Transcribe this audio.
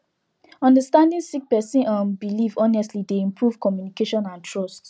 understanding sick person um belief honestly dey improve communication and trust